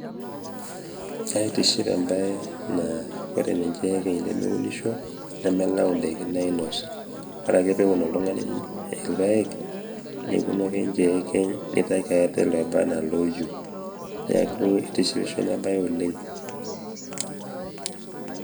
kaitiship embae naa wore ninye oekeny nemewunisho nemelau ndaiki nainos wore ake pewuun oltungani ilpaek meponu ake ninje oekeny nitki ate lobaa enaa louieu. neeku eitishipisho ina bae oleng'